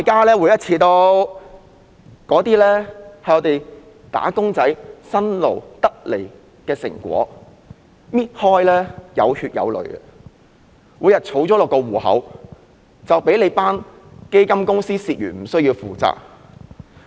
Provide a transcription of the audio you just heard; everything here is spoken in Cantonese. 那些是"打工仔"辛勞換取的成果，每一分錢均有血有淚，但在撥入戶口後卻被基金公司蝕去而無須負責。